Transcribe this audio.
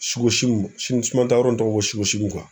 simanyɔrɔ in tɔgɔ ye